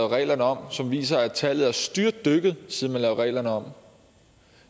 reglerne om som viser at tallet er styrtdykket siden man lavede reglerne om